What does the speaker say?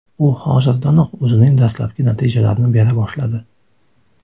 U hozirdanoq o‘zining dastlabki natijalarini bera boshladi.